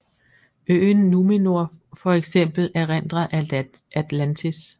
Øen Númenor for eksempel erindrer Atlantis